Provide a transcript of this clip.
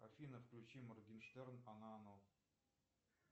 афина включи моргенштерн она оно